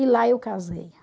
E lá eu casei.